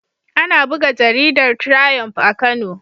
Ana buga jaridar Triump a Kano.